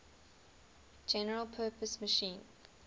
general purpose machine